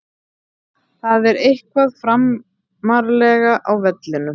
Það er eitthvað framarlega á vellinum.